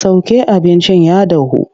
Sauke abincin ya dahu!